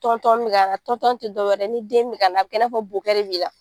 Tɔntɔn bɛ ka na tɔntɔn tɛ dɔwɛrɛ ni den mi ka na a bɛ kɛ i n'a fɔ bokɛ de b'i la.